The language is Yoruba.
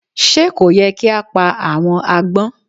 Sé kò yẹ kí á pa àwọn agbón